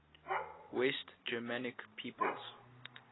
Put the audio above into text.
west germanic peoples